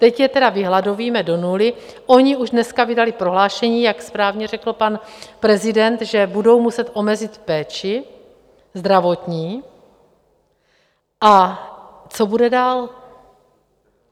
Teď je tedy vyhladovíme do nuly, oni už dneska vydali prohlášení, jak správně řekl pan prezident, že budou muset omezit péči zdravotní, a co bude dál?